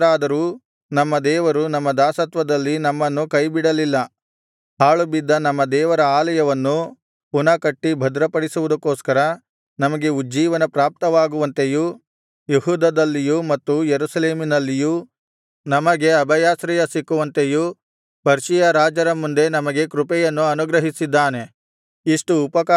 ನಾವು ದಾಸರಾದರೂ ನಮ್ಮ ದೇವರು ನಮ್ಮ ದಾಸತ್ವದಲ್ಲಿ ನಮ್ಮನ್ನು ಕೈಬಿಡಲಿಲ್ಲ ಹಾಳುಬಿದ್ದ ನಮ್ಮ ದೇವರ ಆಲಯವನ್ನು ಪುನಃ ಕಟ್ಟಿ ಭದ್ರಪಡಿಸುವುದಕ್ಕೋಸ್ಕರ ನಮಗೆ ಉಜ್ಜೀವನ ಪ್ರಾಪ್ತವಾಗುವಂತೆಯೂ ಯೆಹೂದದಲ್ಲಿಯೂ ಮತ್ತು ಯೆರೂಸಲೇಮಿನಲ್ಲಿಯೂ ನಮಗೆ ಅಭಯಾಶ್ರಯ ಸಿಕ್ಕುವಂತೆಯೂ ಪರ್ಷಿಯ ರಾಜರ ಮುಂದೆ ನಮಗೆ ಕೃಪೆಯನ್ನು ಅನುಗ್ರಹಿಸಿದ್ದಾನೆ